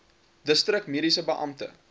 distrik mediese beampte